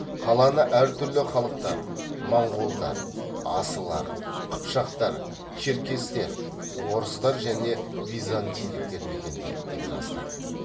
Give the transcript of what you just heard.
қаланы әр түрлі халықтар моңғолдар асылар қыпшақтар черкестер орыстар және византийліктер мекендейді деп жазды